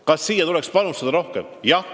Kas sellesse tuleks panustada rohkem?